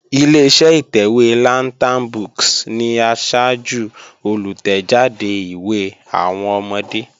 Ileṣẹ́ ìtẹ̀wé Lantern books ni asájú olùtẹ̀jáde ìwé àwọn ọmọdé